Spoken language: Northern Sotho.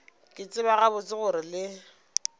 ke tseba gabotse gore le